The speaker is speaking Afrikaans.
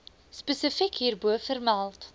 spesifiek hierbo vermeld